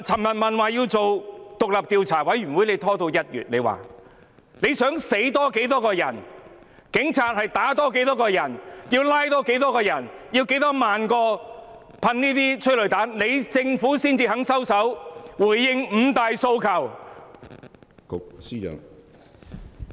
我想問司長，要多少人死亡、多少人被警察打、多少人被拘捕、施放多少萬枚催淚彈後，政府才肯收手，回應"五大訴求"？